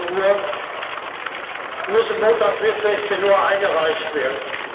16.00 Uhr eingereicht werden.